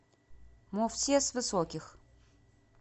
мовсес высоких